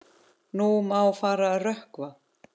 Nú má fara að rökkva.